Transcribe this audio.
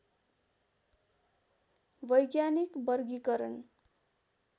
वैज्ञानिक वर्गीकरण